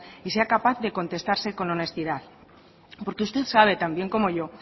y sea capaz de contestarse con honestidad porque usted sabe tan bien como yo